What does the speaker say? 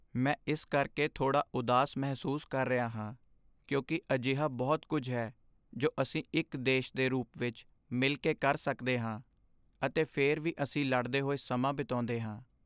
ਮੈਂ ਇਸ ਕਰਕੇ ਥੋੜ੍ਹਾ ਉਦਾਸ ਮਹਿਸੂਸ ਕਰ ਰਿਹਾ ਹਾਂ ਕਿਉਂਕਿ ਅਜਿਹਾ ਬਹੁਤ ਕੁੱਝ ਹੈ ਜੋ ਅਸੀਂ ਇੱਕ ਦੇਸ਼ ਦੇ ਰੂਪ ਵਿੱਚ ਮਿਲ ਕੇ ਕਰ ਸਕਦੇ ਹਾਂ, ਅਤੇ ਫਿਰ ਵੀ ਅਸੀਂ ਲੜਦੇ ਹੋਏ ਸਮਾਂ ਬਿਤਾਉਂਦੇ ਹਾਂ।